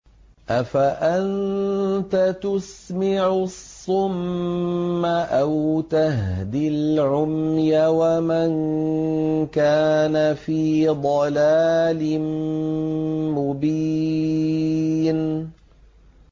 أَفَأَنتَ تُسْمِعُ الصُّمَّ أَوْ تَهْدِي الْعُمْيَ وَمَن كَانَ فِي ضَلَالٍ مُّبِينٍ